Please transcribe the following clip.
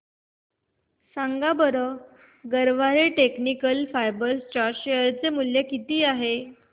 सांगा बरं Garware technical fibres च्या शेअर चे मूल्य किती आहे